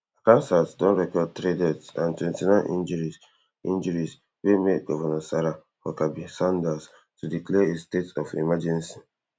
Kasas don record three deaths and twenty-nine injuries injuries wey make govnor sarah huckabee sanders to declare a state of emergency